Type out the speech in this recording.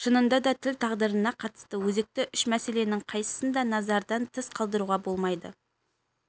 шынында да тіл тағдырына қатысты өзекті үш мәселенің қайсысын да назардан тыс қалдыруға болмайды